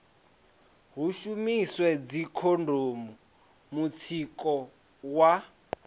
hu shumiswe dzikhondomu mutsiko wa